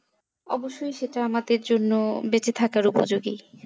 অব্যশই সেটা আমাদের জন্য বেঁচে থাকার উপযোগী